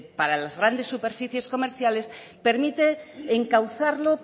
para las grandes superficies comerciales permite encauzarlo